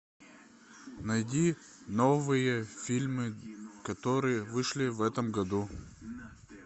найди новые фильмы которые вышли в этом году